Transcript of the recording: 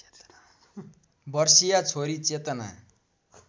वर्षीया छोरी चेतना